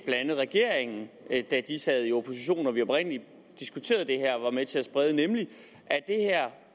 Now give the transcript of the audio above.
andet regeringen da den sad i opposition og da vi oprindelig diskuterede det her var med til at sprede nemlig